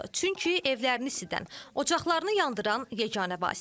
Çünki evlərini isidən, ocaqlarını yandıran yeganə vasitədir.